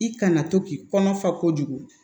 I kana to k'i kɔnɔfa kojugu